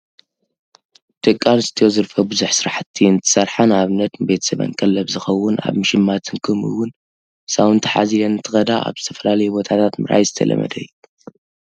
ደቂ ኣንስተዮ ዝርፈ ብዙሕ ስራሕቲ እንትሰርሓ ንኣብነት ንቤተሰበን ቀለብ ዝኾውን ኣብ ምሽማትን ከምኡውን ህፃውንቲ ሓዝለን እንትኸዳ ኣብ ዝተፈላለዩ ቦታታት ምርኣይ ዝተለመደ እዩ።